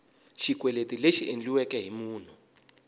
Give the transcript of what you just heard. xikweleti lexi endliweke hi munhu